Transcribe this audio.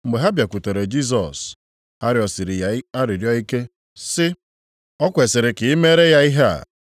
Mgbe ha bịakwutere Jisọs, ha rịọsiri ya arịrịọ ike sị, “O kwesiri ka i mere ya ihe a.